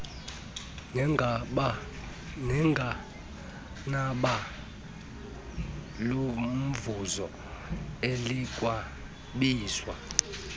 nenqanaba lomvuzo elikwabizwa